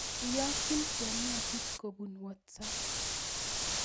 Iyokyin Chepngetich kobun whatsaap